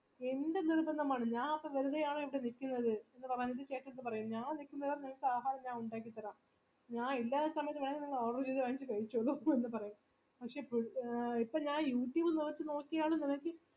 എന്റെ നിർബന്ധമാണ് ഞാൻ അപ്പൊ വെറുതെ ആണോ ഇവിടെ നിക്കുന്നത് എന്ന് ചേട്ടന്ടെത് പറയും ഞാൻ നിക്കുന്നത് നിങ്ങൾക് ആഹാരം ഞാൻ ഉണ്ടാക്കിത്തരും ഞാൻ ഇല്ലാത്ത സമയത്ത് വേണെങ്കി order ചെയ്ത വാങ്ങിച് കയിച്ചോളു എന്നൊക്കെ പറയും ഇപ്പൊ ഞാൻ youtube ഇൽ നോക്കി നോക്കിയാണ്